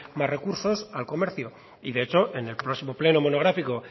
más recursos al comercio de hecho en el próximo pleno monográfico